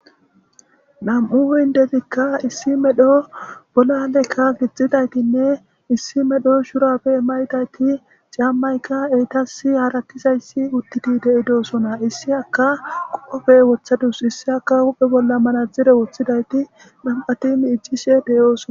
Nam7u hindedikka issi medho bolalekka gixxidaytinne issi medho shurabe maydayti caammaykka eytas haratizayssi uttiti de7idoosona issi aka qoofe wothadus issi aka uphe bolla manadzdzire woththidayti nam7atimi iccishe deyoosona